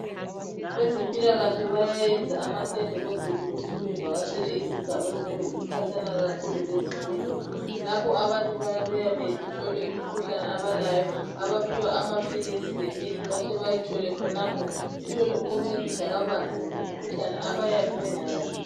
Abazempilakahle bayayenza amatende ukwenzela ukuthi bavakatshele izigana eziyane ezikhatshana kakhulu lezibhedlela abantu bayabuya bahlolwe imikhuhlane abalayo abaphiwa amaphilisi lemithi bahlezi bayithole khonapho bathole ukuncediswa kabanzi ngemikhuhlane abayabe bengayazi